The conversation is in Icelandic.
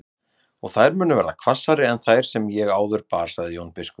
Og þær munu verða hvassari en þær sem ég áður bar, sagði Jón biskup.